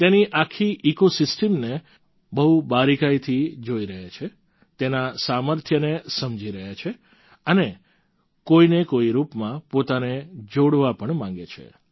તેની આખી ઈકોસિસ્ટમને બહુ બારિકાઈથી જોઈ રહ્યા છે તેના સામર્થ્યને સમજી રહ્યા છે અને કોઈને કોઈ રૂપમાં પોતાને જોડવા પણ માગે છે